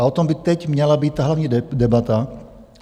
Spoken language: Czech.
A o tom by teď měla být hlavní debata.